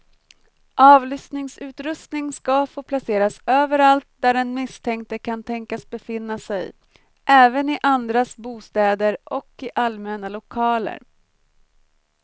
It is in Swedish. Avlyssningsutrustning ska få placeras överallt där den misstänkte kan tänkas befinna sig, även i andras bostäder och i allmänna lokaler.